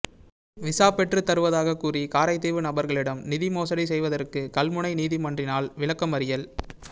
visa பெற்றுத் தருவதாக கூறி காரைதீவு நபர்களிடம் நிதி மோசடி செய்தவருக்கு கல்முனை நீதிமன்றினால் விளக்கமறியல்